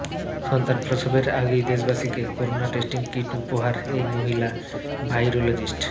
সন্তান প্রসবের আগেই দেশবাসীকে করোনা টেস্টিং কিট উপহার এই মহিলা ভাইরোলজিস্ট